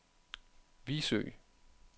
Vigsø